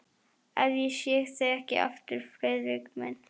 Ef ég sé þig ekki aftur, Friðrik minn.